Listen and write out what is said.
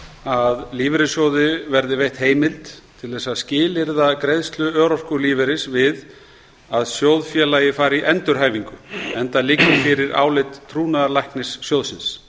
að lífeyrissjóði verði veitt heimild til þess að skilyrða greiðslu örorkulífeyris við að sjóðfélagi fari í endurhæfingu enda liggi fyrir álit trúnaðarlæknis sjóðsins